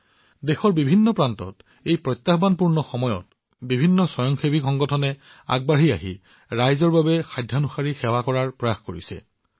আনকি দেশৰ বিভিন্ন প্ৰান্তত এই প্ৰত্যাহ্বানপূৰ্ণ সময়তো স্বয়ংসহায়ক সংগঠনবোৰ আগবাঢ়ি আহিছে আৰু আনক সহায় কৰিবলৈ যি পাৰি সেয়া কৰিবলৈ চেষ্টা কৰি আছে